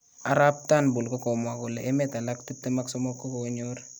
Arap Turnbull kokomwa kole emet alak 23 kokonyor